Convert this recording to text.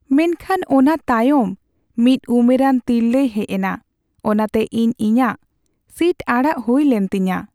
ᱢᱮᱱᱠᱷᱟᱱ ᱚᱱᱟ ᱛᱟᱭᱚᱢ ᱢᱤᱫ ᱩᱢᱮᱨᱟᱱ ᱛᱤᱨᱞᱟᱹᱭ ᱦᱮᱡ ᱮᱱᱟ, ᱚᱱᱟᱛᱮ ᱤᱧ ᱤᱧᱟᱹᱜ ᱥᱤᱴ ᱟᱲᱟᱜ ᱦᱩᱭᱞᱮᱱ ᱛᱤᱧᱟᱹ !